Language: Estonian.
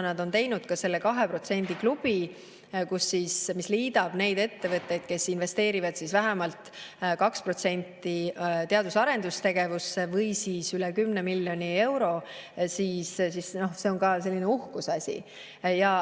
nad on teinud ka kahe protsendi klubi, mis liidab neid ettevõtteid, kes investeerivad vähemalt 2% või üle 10 miljoni euro teadus- ja arendustegevusse, siis see on ka selline uhkuseasi.